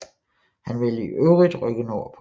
Han ville i øvrigt rykke nordpå